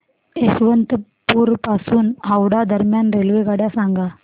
यशवंतपुर पासून हावडा दरम्यान रेल्वेगाड्या सांगा